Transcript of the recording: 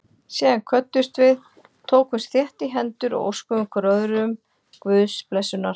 Síðan kvöddumst við, tókumst þétt í hendur og óskuðum hvor öðrum Guðs blessunar.